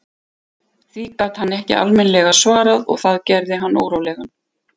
Því gat hann ekki almennilega svarað og það gerði hann órólegan.